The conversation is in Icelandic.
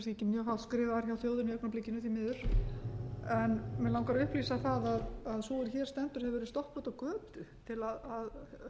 hátt skrifaðir hjá þjóðinni í augnablikinu því miður en mig langar að upplýsa það að sú er hér stendur hefur verið stoppuð úti á götu til að